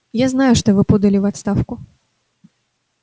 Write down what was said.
я знаю что вы подали в отставку